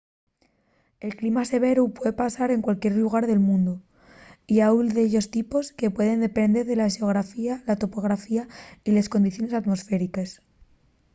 el clima severu puede pasar en cualquier llugar del mundu y hailu de dellos tipos que pueden depender de la xeografía la topografía y les condiciones atmosfériques